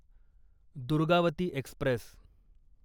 Durgavati Express